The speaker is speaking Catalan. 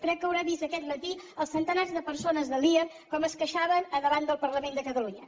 crec que deu haver vist aquest matí els centenars de persones de lear com es queixaven davant del parlament de catalunya